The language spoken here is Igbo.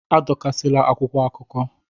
Adọkasịla akwụkwọ akụkọ!